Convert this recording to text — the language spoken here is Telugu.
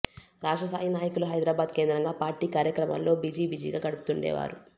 రాష్ట్రస్థాయి నాయకులు హైదరాబాద్ కేంద్రంగా పార్టీ కార్యక్రమాల్లో బిజీ బిజీగా గడుపుతుండేవారు